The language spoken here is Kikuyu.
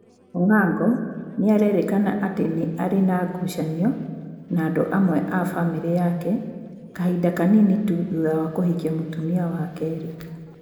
Ong'ongo nĩ a rerikana atĩ nĩ ari na gucanio na andũ amwe a famĩlĩ yake kahinda kanini tu thutha wa kũhikia mũtumia wa kerĩ.